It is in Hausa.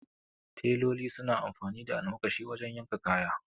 Teloli suna amfani da almakashi wajen yanka kaya